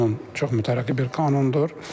Qanun çox mütərəqqi bir qanundur.